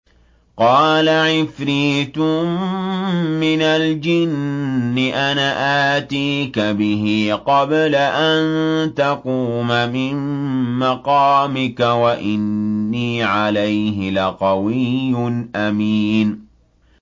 قَالَ عِفْرِيتٌ مِّنَ الْجِنِّ أَنَا آتِيكَ بِهِ قَبْلَ أَن تَقُومَ مِن مَّقَامِكَ ۖ وَإِنِّي عَلَيْهِ لَقَوِيٌّ أَمِينٌ